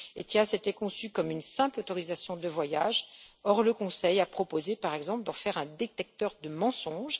ETIAS était conçu comme une simple autorisation de voyage, or le Conseil a proposé, par exemple, d'en faire un détecteur de mensonges.